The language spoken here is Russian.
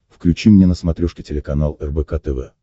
включи мне на смотрешке телеканал рбк тв